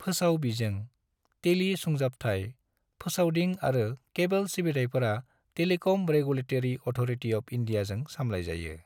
फोसाव बिजों, टेली सुंजाबथाय, फोसावदिं आरो केबल सिबिथायफोरा टेलिकम रेगुलेतरी अथ'रटी अफ इन्डीयाजों सामलाय जायो।